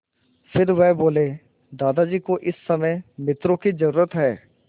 फिर वह बोले दादाजी को इस समय मित्रों की ज़रूरत है